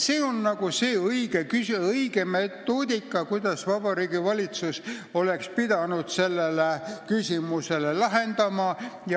See on õige metoodika, kuidas Vabariigi Valitsus oleks pidanud selle küsimuse lahendama.